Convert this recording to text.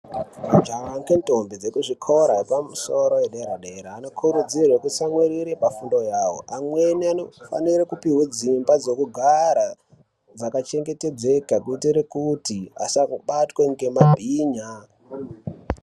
Majaha ngendombi dzekuzvikora yepamusoro yedera-dera anokurudzirwe kutsamwirire pafundo yavo. Amweni anofanire kupihwe dzimba dzokugara dzakachengetedzeka kuitire kuti asabatwe ngemabhinya.